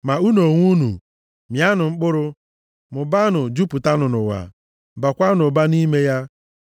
Ma unu onwe unu, mịanụ mkpụrụ, mụbaanụ, jupụtanụ ụwa, baakwanụ ụba nʼime ya.”